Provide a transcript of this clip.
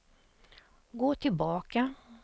gå tillbaka